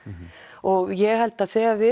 og ég held að þegar við